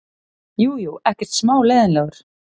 Jú, jú, ekkert smá leiðinlegur.